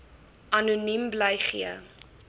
anoniem bly gee